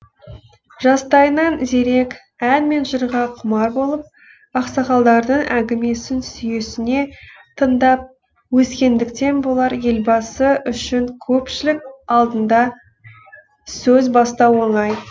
жастайынан зерек ән мен жырға құмар болып ақсақалдардың әңгімесін сүйсіне тыңдап өскендіктен болар елбасы үшін көпшілік алдында сөз бастау оңай